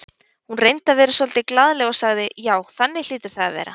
Hún reyndi að vera svolítið glaðleg og sagði: Já, þannig hlýtur það að vera